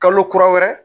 Kalo kura wɛrɛ